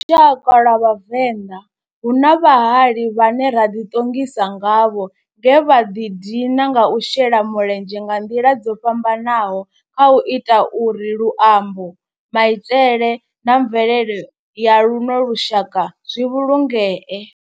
Kha lushaka lwa Vhavenda, hu na vhahali vhane ra di tongisa ngavho nge vha di dina nga u shela mulenzhe nga nḓila dzo fhambananaho khau ita uri luambo, maitele na mvelele ya luno lushaka zwi vhulungee.